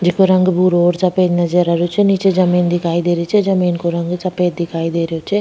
जैको रंग भूरो और सफ़ेद नजर आ रो छे निचे जमीन दिखाई दे रो छे जमीं को रंग सफ़ेद दिखाई दे रो छे।